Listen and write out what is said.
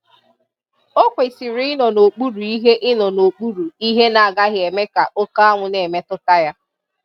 Ọ kwesị̀rị ịnọ n'okpuru ihe ịnọ n'okpuru ihe na-agaghị eme ka òkè anwụ na-emetụta ya.